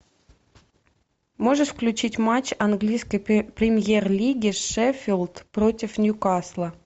можешь включить матч английской премьер лиги шеффилд против ньюкасла